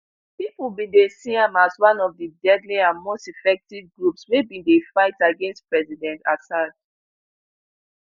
pipo bin dey see am as one of di deadly and most effective groups wey bin dey fight against president assad